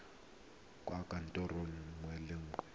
kwa kantorong nngwe le nngwe